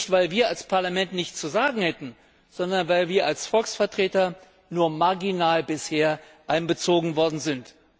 Nicht, weil wir als Parlament nichts zu sagen hätten, sondern weil wir als Volksvertreter bisher nur marginal einbezogen worden sind.